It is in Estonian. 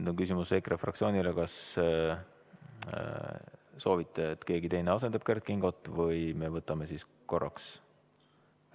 Mul on küsimus EKRE fraktsioonile, kas soovite, et keegi teine asendaks Kert Kingot, või me võtame korraks ...